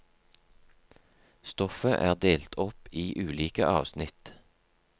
Stoffet er delt opp i ulike avsnitt.